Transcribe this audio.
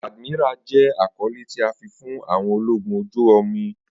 Admiral jẹ akọle ti a fi fun àwọn ologun oju-omi